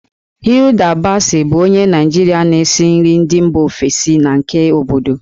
Hilda Baci bụ onye Naịjirịa na-esi nri ndị mba ofesi na nke obodo.